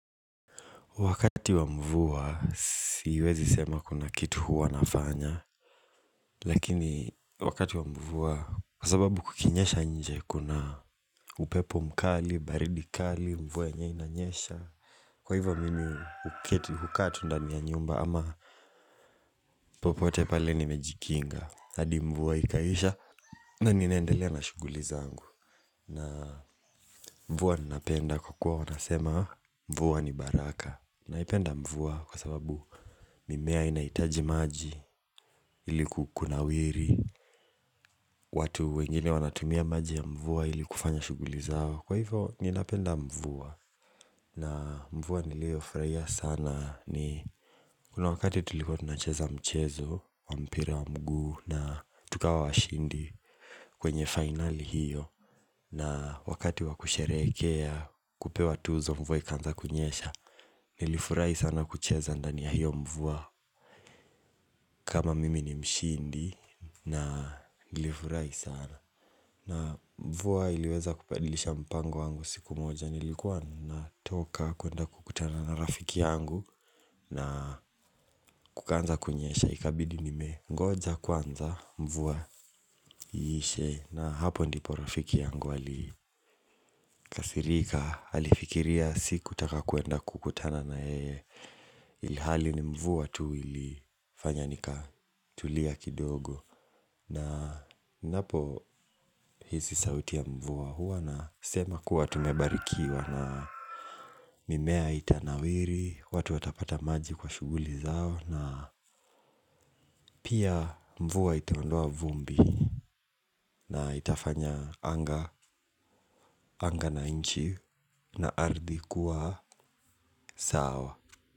Wakati wa mvua, siwezi sema kuna kitu huwa nafanya. Lakini, wakati wa mvua, kwa sababu kukinyesha nje, kuna upepo mkali, baridi kali, mvua yenyewe inanyesha. Kwa hivyo, mimi huketi hukaa tu ndani ya nyumba, ama popote pale nimejikinga. Hadi mvua ikaisha, na ninaendelea na shughuli zangu. Na mvua ninapenda kwa kuwa wanasema, mvua ni baraka. Naipenda mvua kwa sababu mimea inahitaji maji ili kunawiri watu wengine wanatumia maji ya mvua ili kufanya shughuli zao. Kwa hivyo ninapenda mvua na mvua niliofurahia sana ni kuna wakati tulikuwa tunacheza mchezo wa mpira wa mguu na tukawa washindi kwenye final hiyo. Na wakati wa kusherekea kupewa tuzo mvua ikaanza kunyesha. Nilifurahi sana kucheza ndani ya hiyo mvua. Kama mimi ni mshindi na nilifurahi sana. Na mvua iliweza kubadilisha mpango wangu siku moja. Nilikuwa natoka kwenda kukutana na rafiki yangu. Na kukaanza kunyesha ikabidi nimengoja kwanza mvua iishe. Na hapo ndipo rafiki yangu alikasirika. Alifikiria sikutaka kwenda kukutana na yeye. Ilihali ni mvua tu ilifanya nikatulia kidogo. Na napo hizi sauti ya mvua huwa na sema kuwa tumebarikiwa na mimea itanawiri, watu watapata maji kwa shughuli zao na pia mvua itaondoa vumbi na itafanya anga, anga na nchi na ardhi kuwa sawa.